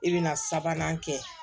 I bɛna sabanan kɛ